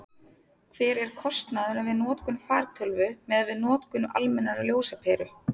hver er kostnaðurinn við notkun fartölvu miðað við notkun almennrar ljósaperu